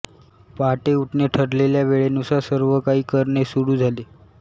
पहाटे उठणे ठरलेल्या वेळेनुसार सर्व काही करणे सुरू झाले